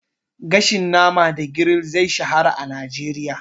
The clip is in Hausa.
Gashin nama da grill zai shahara a Najeriya.